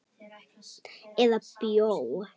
Eða bjó.